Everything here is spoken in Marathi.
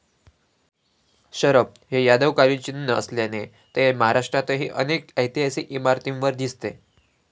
शरभ हे यादवकालीन चिन्ह असल्याने ते महाराष्ट्रातही अनेक ऐतिहासिक इमारतीवर दिसते.